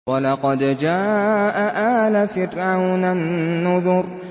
وَلَقَدْ جَاءَ آلَ فِرْعَوْنَ النُّذُرُ